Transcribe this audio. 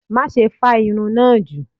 Maṣe fa irun naa ju!